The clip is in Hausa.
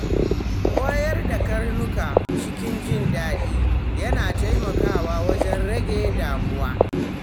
Koyar da karnuka cikin jin daɗi yana taimakawa wajen rage damuwa.